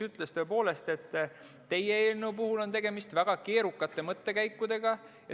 Ta ütles, et teie eelnõu puhul on tegemist väga keerukate mõttekäikudega.